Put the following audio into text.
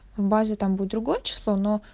в базе там будет другое число но